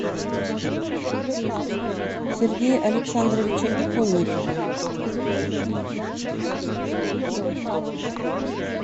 сергея александровича иконникова